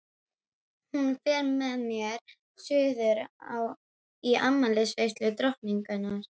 Hún fer með mér suður í afmælisveislu drottningar.